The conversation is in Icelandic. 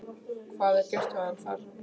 Hvað er gert við hann þar?